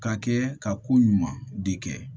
Ka kɛ ka ko ɲuman de kɛ